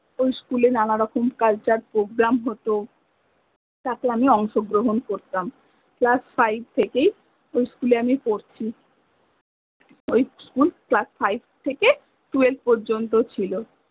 ওই school এ নানা রকম cultureprogram হত তারপর আমি করতাম class 5 থেকেই ওই school এ আমি পরছি ওই schoolclassfive থেকে twelve পর্যন্ত ছিল